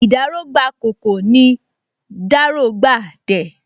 Ìdáró gbà ’kòkò, nì ’dáró gba ’dẹ